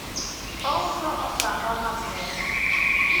ouso otamba mag mesa